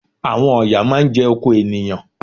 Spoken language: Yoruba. Àwọn ọ̀yà máá ń jẹ oko ènìyàn